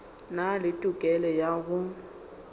na le tokelo ya go